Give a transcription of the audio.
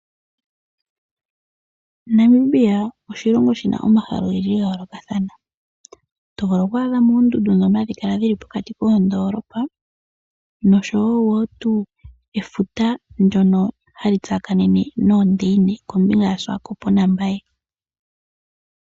Namibia oshilongo shina omahala ogendji ga yoolokathana, tovulu oku adhamo oondundu dhono hadhi kala dhili pokati kondoolopa, nosho wo wo tu efuta ndyono ha li tsakanene noondeine kombinga ya swakop nambaye.